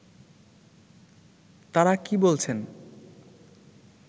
তারা কী বলছেন